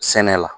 Sɛnɛ la